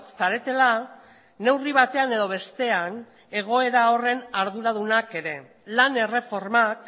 zaretela neurri batean edo bestean egoera horren arduradunak ere lan erreformak